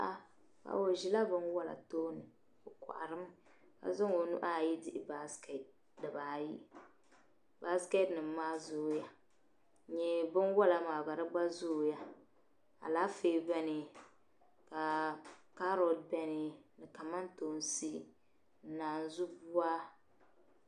O ʒila binwɔla tooni o kohiri mi ka zaŋ o nuhi ayi dihi busket dibaayi busket nim maa zooya ni binwɔla maa gba zooya alaafee beni ka carrot beni kamantoonsi ni naazuu bua.